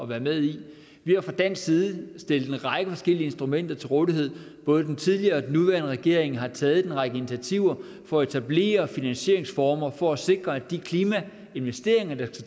være med i vi har fra dansk side stillet en række forskellige instrumenter til rådighed både den tidligere og den nuværende regering har taget en række initiativer for at etablere finansieringsformer for at sikre at de klimainvesteringer der